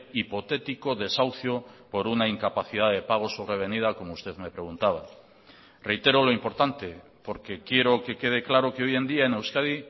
hipotético desahucio por una incapacidad de pagos sobrevenida como usted me preguntaba reitero lo importante porque quiero que quede claro que hoy en día en euskadi